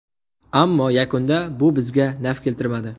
Ammo yakunda bu bizga naf keltirmadi.